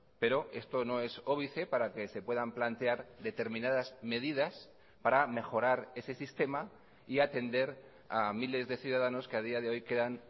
pero esto no es óbice para que se puedan plantear determinadas medidas para mejorar ese sistema y atender a miles de ciudadanos que a día de hoy quedan